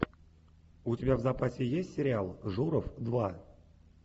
у тебя в запасе есть сериал журов два